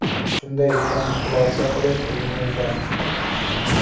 Shunday ekan, xulosa qilish o‘zingizdan”.